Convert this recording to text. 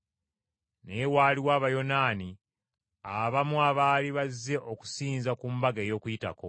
Naye waaliwo Abayonaani abamu abaali bazze okusinza ku mbaga ey’Okuyitako